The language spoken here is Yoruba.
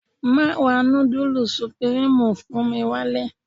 Má ra nudulu supirimu fún mi wálé.